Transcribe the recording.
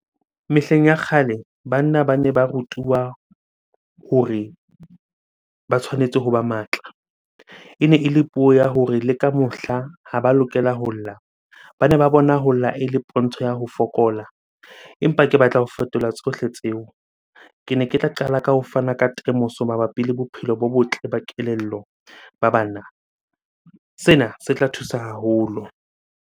Mehleng ya kgale banna bane ba rutuwa hore ba tshwanetse hoba matla. Ene ele puo ya hore le ka mohla ha ba lokela ho lla. Bane ba bona ho lla ele ntho ya ho fokola, empa ke batla ho fetola tsohle tseo. Kene ke tla qala ka ho fana ka temoso mabapi le bophelo bo botle ba kelello ba banna. Sena se tla thusa haholo.